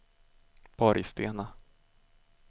Borgstena